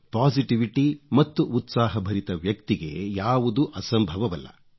positivity ಮತ್ತು ಉತ್ಸಾಹಭರಿತ ವ್ಯಕ್ತಿಗೆ ಯಾವುದೂ ಅಸಂಭವವಲ್ಲ